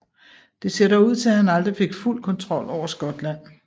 Det ser dog ud til at han aldrig fik fuld kontrol over Skotland